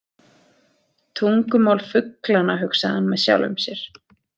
Tungumál fuglanna, hugsaði hann með sjálfum sér.